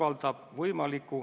Aitäh!